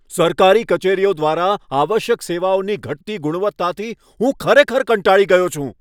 સરકારી કચેરીઓ દ્વારા આવશ્યક સેવાઓની ઘટતી ગુણવત્તાથી હું ખરેખર કંટાળી ગયો છું.